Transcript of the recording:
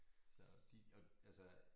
Så de og altså